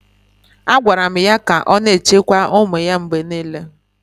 A gwaara m ya ka ọ na-echekwa ụmụ ya mgbe niile.